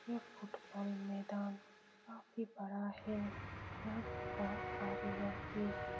यह फुटबॉल मैदान काफी बड़ा है यहाँ पे बहुत सारे लड़के --